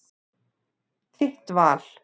Þitt val.